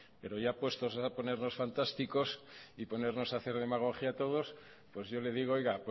pero ya puestos a ponernos fantásticos y ponernos a hacer demagogia todos pues yo le digo oiga